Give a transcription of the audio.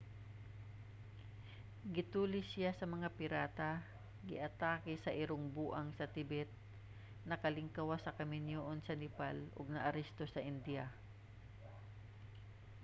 gitulis siya sa mga pirata giatake sa irong buang sa tibet nakalingkawas sa kaminyuon sa nepal ug naaresto sa indiya